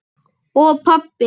Og pabba.